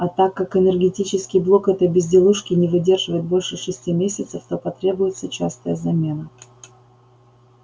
а так как энергетический блок этой безделушки не выдерживает больше шести месяцев то потребуется частая замена